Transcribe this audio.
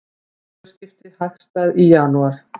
Vöruskipti hagstæð í janúar